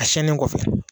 A siyɛnnen kɔfɛ